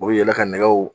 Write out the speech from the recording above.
U bɛ yala ka nɛgɛw